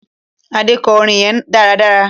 Ade kò orin yén dáradára